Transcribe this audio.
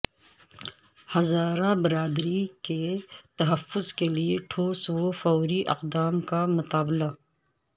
ہزارہ برادری کے تحفظ کے لیے ٹھوس و فوری اقدام کا مطالبہ